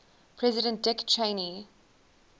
president dick cheney